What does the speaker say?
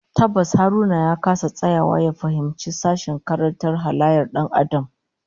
Tabbas Haruna ya kasa tsayawa ya fahimci sashen karantar halayyar Dan Adam